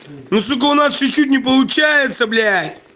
ну сука у нас чуть-чуть не получается блять